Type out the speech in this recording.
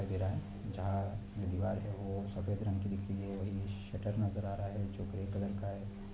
जहाँ दिवार हैवो सफेद रंग की दिख रही है और ये शटर नजर आ रहा है जो ग्रे कलर का है।